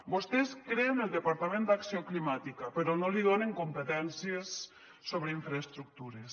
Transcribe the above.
vostès creen el departament d’acció climàtica però no li donen competències sobre infraestructures